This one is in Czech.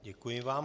Děkuji vám.